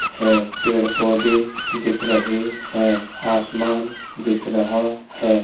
है पेड़-पौधे दिख रहे हैं। आसमान दिख रहा है।